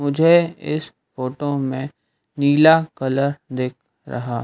मुझे इस फोटो में नीला कलर दिख रहा--